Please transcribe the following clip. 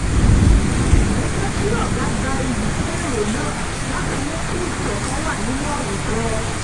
mo jẹ́ kí ọ̀gá gba iyì fún èrò náà láti mú kí ìṣọ̀kan wà nínú àwùjọ